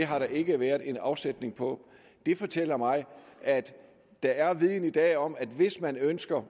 har der ikke været afsætning på det fortæller mig at der er viden i dag om at hvis man ønsker